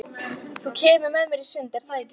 Þú kemur með mér í sund, er það ekki?